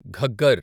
Ghaggar